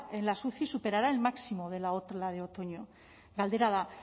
en las uci superará el máximo de la ola de otoño galdera da